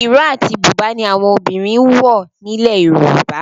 Ìró àti Bùbá ni àwọn obìnrin ń wọ̀ nílẹ̀ Yorùbá